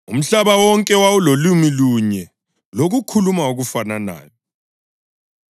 Umhlaba wonke wawulolimi lunye lokukhuluma okufananayo.